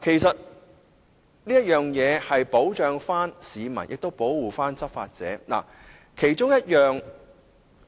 這樣既能保障市民，亦能保護執法人員。